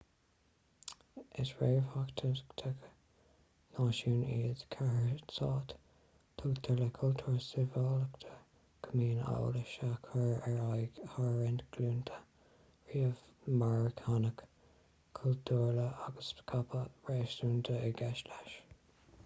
is réamhtheachtaithe náisiún iad cathairstáit tuigtear le cultúr sibhialtachta go mbíonn eolas á chur ar aghaidh thar roinnt glúnta rian marthanach cultúrtha agus scaipeadh réasúnta i gceist leis